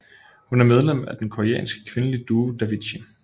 Hun er medlem af den koreanske kvindelige duo Davichi